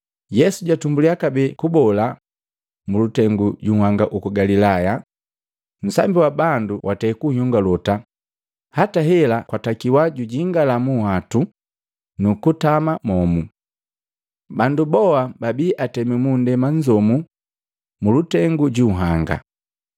Yesu jatumbulya kabee kubola mulutengu ju nhanga uku Galilaya. Nsambi wa bandu watei kunyongolota hata hela kwatakiwa jujingala munhwatu nukutama momu. Bandu boa babii atemi mundema nzomu mulutengu ju nhanga.